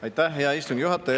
Aitäh, hea istungi juhataja!